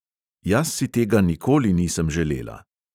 Jaz si tega nikoli nisem želela.